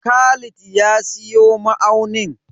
Khalid ya siyo ma'aunin.